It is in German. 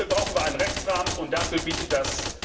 Dafür brauchen wir einen Rechtsrahmen, und dafür bietet das